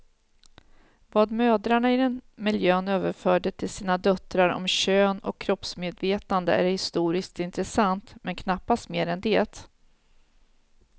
Vad mödrarna i den miljön överförde till sina döttrar om kön och kroppsmedvetande är historiskt intressant, men knappast mer än det.